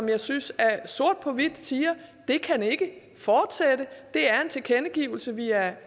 jeg synes at den sort på hvidt siger det kan ikke fortsætte det er en tilkendegivelse vi er